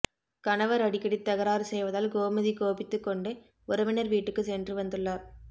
கணவர் அடிக்கடி தகராறு செய்வதால் கோமதி கோபித்துக்கொண்டு உறவினர் வீட்டுக்கு சென்று வந்துள்ளார்